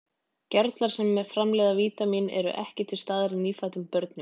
Gerlar sem framleiða vítamínið eru ekki til staðar í nýfæddum börnum.